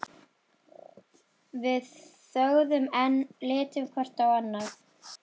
Við þögðum enn, litum hvort á annað.